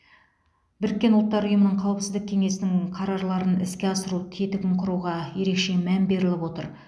біріккен ұлттар ұйымының қауіпсіздік кеңесінің қарарларын іске асыру тетігін құруға ерекше мән беріліп отыр